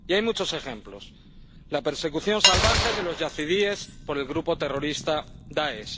Y hay muchos ejemplos la persecución salvaje de los yazidíes por el grupo terrorista Dáesh